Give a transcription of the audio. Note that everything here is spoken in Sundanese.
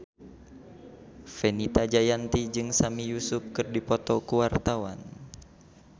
Fenita Jayanti jeung Sami Yusuf keur dipoto ku wartawan